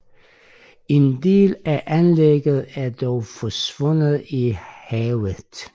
En del anlægget er dog forsvundet i havet